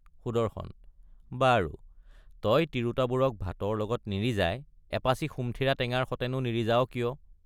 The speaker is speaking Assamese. সুদৰ্শন—বাৰু তই তিৰোতাবোৰক ভাতৰ লগত নিৰিজাই এপাছি সুমথিৰা টেঙাৰ সতেনো নিৰিজাৱ কিয়?